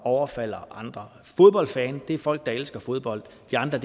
overfalder andre fodboldfans er folk der elsker fodbold de andre